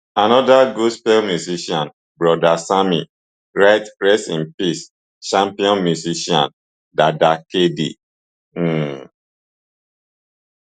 anoda gospel musician broda sammy write rest in peace champion musician dada kd um